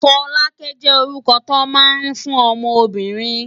Folake jé órúkò tó má n fún òmò óbìrín